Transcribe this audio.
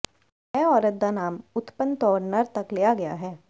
ਇਹ ਔਰਤ ਦਾ ਨਾਮ ਉਤਪੰਨ ਤੌਰ ਨਰ ਤੱਕ ਲਿਆ ਗਿਆ ਹੈ